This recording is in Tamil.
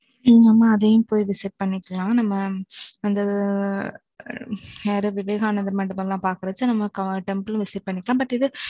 அதையும் போய் visit பண்ணிக்கலாம். நம்ம, அந்த, அ யாரு? விவேகானந்தர் மண்டபம் எல்லாம் பாக்குறச்ச, temple visit பண்ணிக்கலாம். but இது,